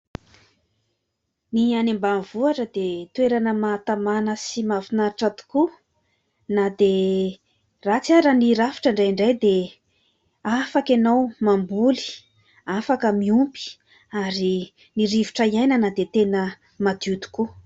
Ny any ambanivohitra dia toerana mahatamana sy mafinaritra tokoa, na dia ratsy ara ny rafitra indraindray dia afaka ianao mamboly afaka miompy ary ny rivotra hiainana dia tena madio tokoa!